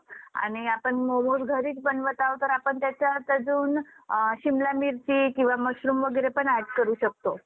आणि आपण मोमोज घरीच बनवत आहोत तर आपण त्याच्यात अजून अ शिमला मिरची किंवा मश्रुम वगैरे पण ऍड करू शकतो.